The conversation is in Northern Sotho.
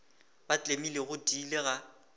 ba tlemile go tiile ga